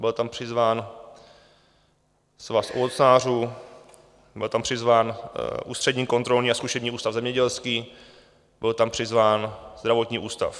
Byl tam přizván Svaz ovocnářů, byl tam přizván Ústřední kontrolní a zkušební ústav zemědělský, byl tam přizván Zdravotní ústav.